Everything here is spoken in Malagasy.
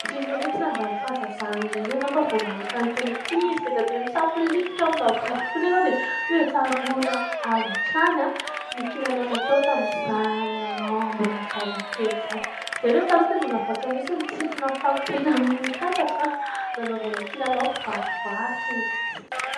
Hoatran'ireny hoe tsy nandalo fahazazana ireny ianao fa vao mahita an'itony ankizy bediabe misafolitika ao amin'ny vovoka itony ianao, dia tsaroana avy hatrany ny kilalao natao tamin'izany ianao mbola zazakely izany. Izahay reto taloha tena nahavatra mihitsy ny nitsipona fako teny amin'ny tatatra nanaovana kilalao kivarivary sy ny sisa.